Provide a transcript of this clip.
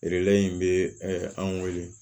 in bɛ an weele